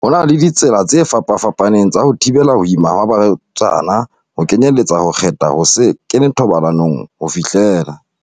Ho na le ditsela tse fapafa paneng tsa ho thibela ho ima ha ba rwetsana, ho kenyeletsa ho kgetha ho se kene thobalanong ho fihlela